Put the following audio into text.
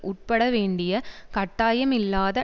உட்படவேண்டிய கட்டாயமில்லாத